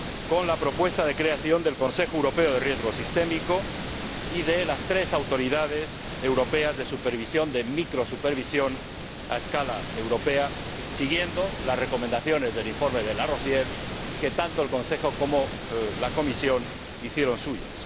con la propuesta de creación del Consejo Europeo de Riesgos Sistémico y de las tres autoridades europeas de microsupervisión, a escala europea, siguiendo las recomendaciones del informe De Larosière que tanto el Consejo como la Comisión hicieron suyas.